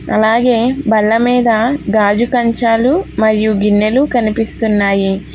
అలాగే బల్లమీద గాజు కంచాలు మరియు గిన్నెలు కనిపిస్తున్నాయి